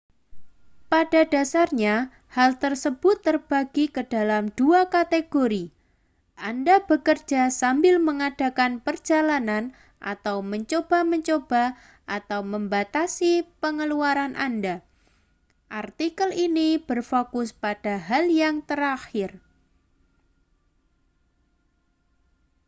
pada dasarnya hal tersebut terbagi ke dalam dua kategori anda bekerja sambil mengadakan perjalanan atau mencoba mencoba atau membatasi pengeluaran anda artikel ini berfokus pada hal yang terakhir